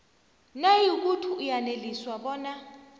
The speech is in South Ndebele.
nayikuthi uyaneliswa bona